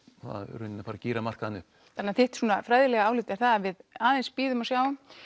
rauninni gíra markaðinn upp þannig að þitt fræðilega álit er það að við aðeins bíðum og sjáum